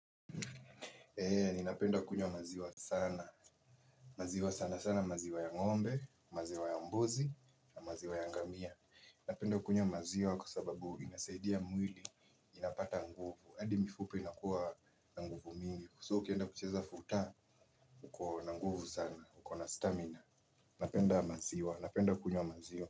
Ninapenda kunywa maziwa sana, maziwa sana sana, maziwa ya ngombe, maziwa ya mbuzi na maziwa ya ngamia. Napenda kunywa maziwa kwa sababu inasaidia mwili, inapata nguvu, hadi mifupa inakuwa na nguvu mingi so ukienda kucheza futa, uko na nguvu sana, uko na stamina, napenda maziwa napenda kunywa maziwa.